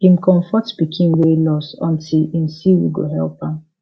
eim comfort pikin wey loss until im see who go help am